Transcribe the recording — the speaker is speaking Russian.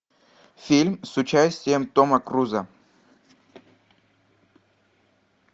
фильм с участием тома круза